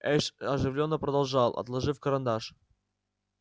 эш оживлённо продолжал отложив карандаш